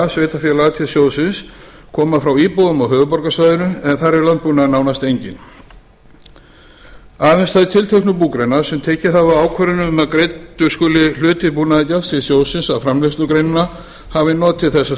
sveitarfélaga til sjóðsins koma frá íbúum á höfuðborgarsvæðinu en þar er landbúnaður nánast enginn aðeins þær tilteknu búgreinar sem tekið hafa ákvörðun um að greiddur skuli hluti búnaðargjalds til sjóðsins af framleiðslugreinanna hafi notið þessa